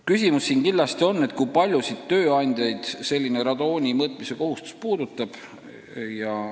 Kindlasti tekib küsimus, kui paljusid tööandjaid radooni mõõtmise kohustus puudutab.